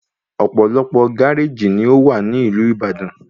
Ọ̀pọ̀lọpọ̀ gáréjì ni ówà ní ìlú Ìbàdàn